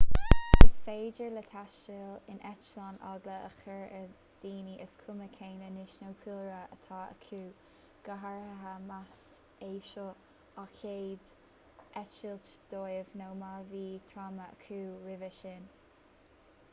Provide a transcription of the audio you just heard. is féidir le taisteal in eitleán eagla a chur ar dhaoine is cuma cén aois nó cúlra atá acu go háirithe más é seo an chéad eitilt dóibh nó má bhí tráma acu roimhe sin